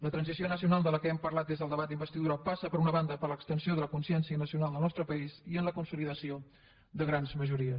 la transició nacional de què hem parlat des del debat d’investidura passa per una banda per l’extensió de la consciència nacional del nostre país i per la consolidació de grans majories